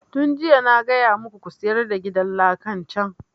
Tun jiya na gaya muku ku sayar da gidan lakan can!